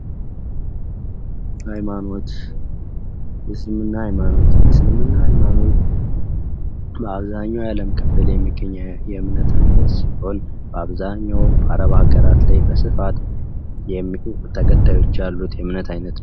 ሃይማኖት የእስልምና ሃይማኖት የእስልምና ሃይማኖት በአብዛኛው የአለም ክፍል የሚገኝ የእምነት አይነት ሲሆን በአብዛኛው አረብ ሀገራት ላይ በስፋት ተከታዮች ያሉት የእምነት አይነት ነው።